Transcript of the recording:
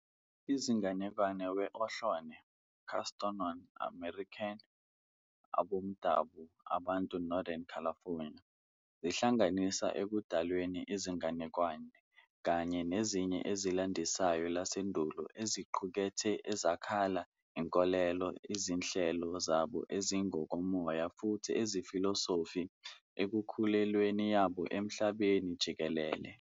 I izinganekwane we Ohlone, Costanoan, American aboMdabu abantu Northern California zihlanganisa ekudalweni izinganekwane kanye nezinye ezilandisayo lasendulo eziqukethe ezakha inkolelo izinhlelo zabo ezingokomoya futhi zefilosofi, ekukhulelweni yabo emhlabeni jikelele.